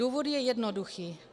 Důvod je jednoduchý.